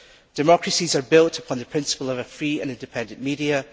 Democracies are built upon the principle of a free and independent media.